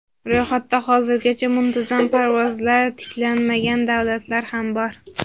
Ro‘yxatda hozirgacha muntazam parvozlar tiklanmagan davlatlar ham bor.